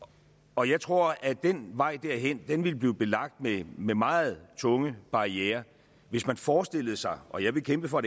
og jeg tror at vejen derhen ville blive belagt med meget tunge barrierer hvis man forestillede sig og jeg vil kæmpe for